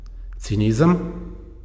Cinizem?